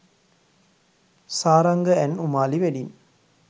saranga and umali wedding